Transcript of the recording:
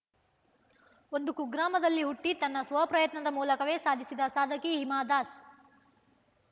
ಒಂದು ಕೂಗ್ರಾಮದಲ್ಲಿ ಹುಟ್ಟಿತನ್ನ ಸ್ವಪ್ರಯತ್ನದ ಮೂಲಕವೇ ಸಾಧಿಸಿದ ಸಾಧಕಿ ಹಿಮಾ ದಾಸ್‌